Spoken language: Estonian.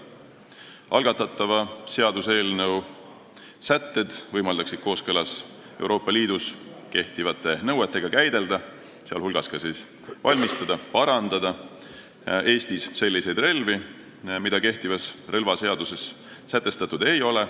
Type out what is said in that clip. Algatatud seaduseelnõu sätted võimaldaksid kooskõlas Euroopa Liidus kehtivate nõuetega käidelda, sh valmistada-parandada Eestis selliseid relvi, mida kehtivas relvaseaduses märgitud ei ole.